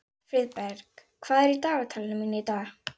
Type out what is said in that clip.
Friðberg, hvað er á dagatalinu mínu í dag?